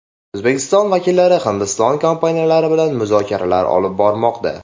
O‘zbekiston vakillari Hindiston kompaniyalari bilan muzokaralar olib bormoqda.